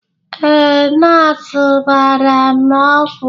Ee, nọọsụ gbara m ọgwụ